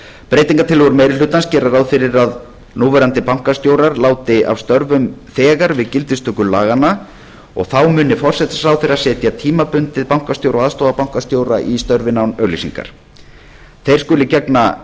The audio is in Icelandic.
breytingartillögur meiri hlutans gera ráð fyrir að núverandi bankastjórar láti af störfum þegar við gildistöku laganna og þá muni forsætisráðherra setja tímabundið bankastjóra og aðstoðarbankastjóra í störfin án auglýsingar þeir skuli gegna